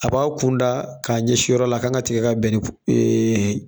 A b'a kunda k'a ɲɛsi yɔrɔ la a kan ka tigɛ ka bɛn ni ee